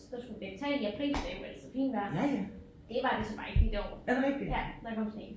Der skulle vi lægge tag i april det er jo altid fint vejr. Det var det så bare ikke lige det år ja der kom sne